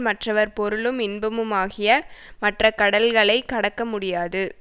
மற்றவர் பொருளும் இன்பமுமாகிய மற்ற கடல்களைக் கடக்க முடியாது